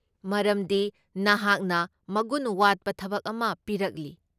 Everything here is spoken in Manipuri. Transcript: ꯃꯔꯝꯗꯤ ꯅꯍꯥꯛꯅ ꯃꯒꯨꯟ ꯋꯥꯠꯄ ꯊꯕꯛ ꯑꯃ ꯄꯤꯔꯛꯂꯤ꯫